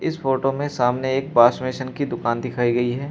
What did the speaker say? इस फोटो में सामने एक वाश बेसिन की दुकान दिखाई गई है।